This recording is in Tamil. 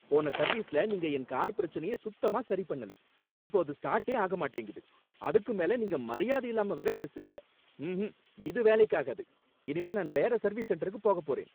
போன சர்வீஸ்ல நீங்க என் கார் பிரச்சனைய சுத்தமா சரிபண்ணலை, இப்போ அது ஸ்டார்ட்டே ஆக மாட்டேங்குது, அதுக்கும் மேல நீங்க மரியாதை இல்லாம வேற பேசுறீங்க. ம்ஹூம், இது வேலைக்கு ஆகாது, இனிமே நான் வேற சர்வீஸ் சென்டருக்கு போகப் போறேன்.